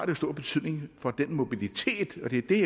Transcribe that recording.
jo stor betydning for mobiliteten og det er det